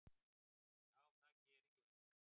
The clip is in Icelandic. Já, það geri ég.